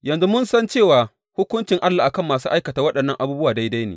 Yanzu mun san cewa hukuncin Allah a kan masu aikata waɗannan abubuwa daidai ne.